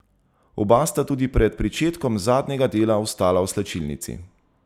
Oba sta tudi pred pričetkom zadnjega dela ostala v slačilnici.